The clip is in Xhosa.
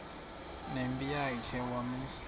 nempi yakhe wamisa